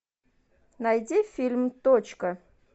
найди фильм точка